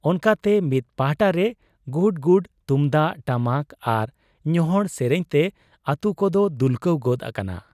ᱚᱱᱠᱟᱛᱮ ᱢᱤᱫ ᱯᱟᱦᱴᱟᱨᱮ ᱜᱩᱰ ᱜᱩᱰ ᱛᱩᱢᱫᱟᱹᱜ ᱴᱟᱢᱟᱠ ᱟᱨ ᱧᱚᱦᱚᱬ ᱥᱮᱨᱮᱧ ᱛᱮ ᱟᱹᱛᱩᱠᱚᱫᱚ ᱫᱩᱞᱠᱟᱹᱣ ᱜᱚᱫ ᱟᱠᱟᱱᱟ ᱾